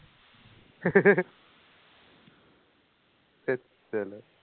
ধেৎ